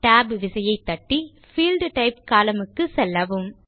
Tab விசையை தட்டி field type column க்குச் செல்லவும்